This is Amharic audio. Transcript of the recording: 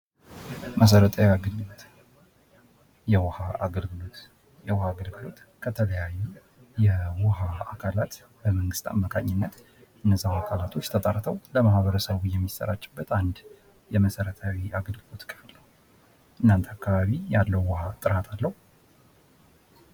መሰረታዊ አገልግሎት፤ የውሃ አገልግሎት፤ የውሃ አገልግሎት ከተለያዩ የውሃ አካላት በመንግስት አማካኝነት እነዛ የውሃ አካላቶች ተጣርተው ለማህበረሰቡ የሚሰራጭበት አንድ የመሰረታዊ አገልግሎት ነው። እናንተ አካባቢ ያለው ውሃ ጥራት አለው?